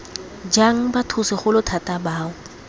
jang batho segolo thata bao